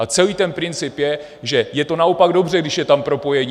A celý ten princip je, že je to naopak dobře, když je tam propojení.